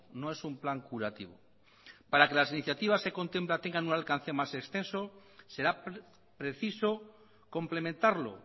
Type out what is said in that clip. no es un plan curativo para que las iniciativas que se contemplan tengan un alcance más extenso será preciso complementarlo